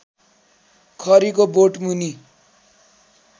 खरीको बोटमुनि